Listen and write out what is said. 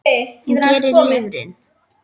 Hvað gerir lifrin?